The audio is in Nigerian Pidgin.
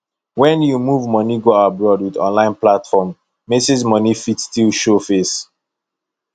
when you move money go abroad with online platform message money fit still show face